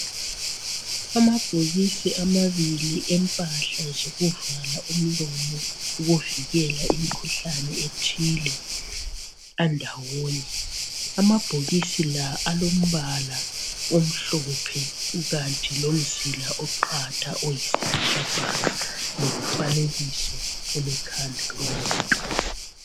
Amabhokisi amabili empahla zokuvala umlomo ukuvikela imikhuhlane ethile andawomye. Amabhokisi la alombala omhlophe kukanti lomzila oqatha oyisibhakabhaka lomfanekiso olekhanda lomuntu.